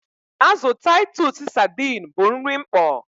Azụ Taịtus sadiin bụ nri mkpọ.